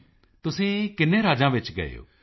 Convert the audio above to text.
ਮੋਦੀ ਜੀ ਤੁਸੀਂ ਕਿੰਨੇ ਰਾਜਾਂ ਵਿੱਚ ਗਏ ਹੋ